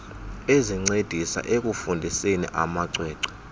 ezincedisa ekufundiseni amacwecwe